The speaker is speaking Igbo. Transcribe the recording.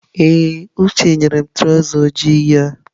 Ee, Uche nyere m traụza ojii ya.